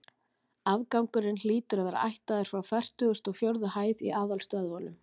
Afgangurinn hlýtur að vera ættaður frá fertugustu og fjórðu hæð í aðalstöðvunum.